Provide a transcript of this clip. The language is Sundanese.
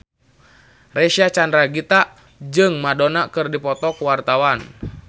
Reysa Chandragitta jeung Madonna keur dipoto ku wartawan